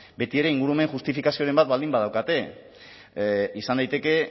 betiere ingurumen justifikazioren bat baldin badaukate izan daiteke